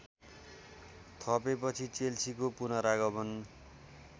थपेपछि चेल्सीको पुनरागमन